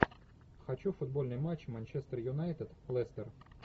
хочу футбольный матч манчестер юнайтед лестер